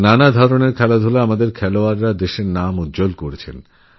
বিভিন্ন ধরনের খেলায় আমাদের ক্রীড়াবিদ্রা দেশের নাম উজ্জ্বল করেছেন